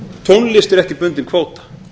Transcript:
tónlist er ekki bundin kvóta